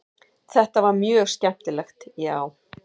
Þetta var mjög skemmtilegt já.